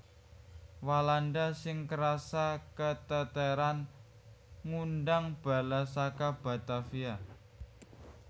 Walanda sing krasa keteteran ngundang bala saka Batavia